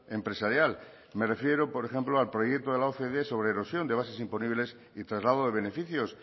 empresarial me refiero por ejemplo al proyecto de la ocde sobre erosión de bases imponibles y traslado de beneficios